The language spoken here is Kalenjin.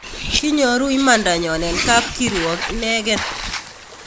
Kimyoruu imandanyon en kapkirwok inegeen